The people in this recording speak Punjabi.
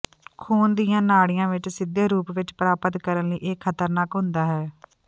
ਖੂਨ ਦੀਆਂ ਨਾਡ਼ੀਆਂ ਵਿੱਚ ਸਿੱਧੇ ਰੂਪ ਵਿੱਚ ਪ੍ਰਾਪਤ ਕਰਨ ਲਈ ਇਹ ਖ਼ਤਰਨਾਕ ਹੁੰਦਾ ਹੈ